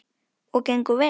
Og gengur vel.